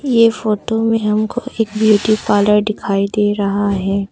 ये फोटो में हमको एक ब्यूटी पार्लर दिखाई दे रहा है।